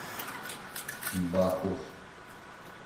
бахус